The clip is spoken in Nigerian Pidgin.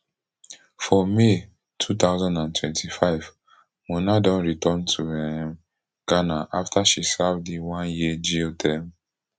for may two thousand and twenty-five mona don return to um ghana afta she serve di oneyear jail term